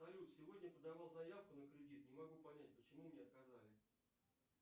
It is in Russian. салют сегодня подавал заявку на кредит не могу понять почему мне отказали